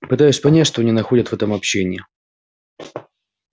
пытаюсь понять что они находят в этом общении